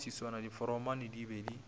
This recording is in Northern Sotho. ka maswiswana diforomane di be